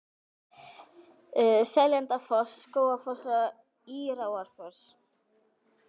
Seljalandsfoss, Skógafoss og Írárfoss.